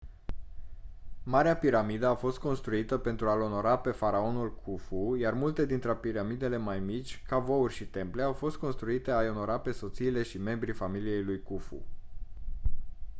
marea piramidă a fost construită pentru a-l onora pe faraonul khufu iar multe dintre piramidele mai mici cavouri și temple au fost construite a-i onora pe soțiile și membrii familiei lui khufu